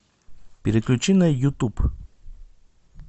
переключи на ютуб